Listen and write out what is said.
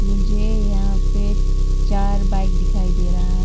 मुझे यहां पे चार बाइक दिखाई दे रहा है।